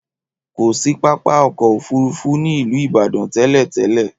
Kò sí pápákọ̀ òfúrufú ní ìlú Ìbàdàn tẹ́lẹ̀-tẹ́lẹ̀.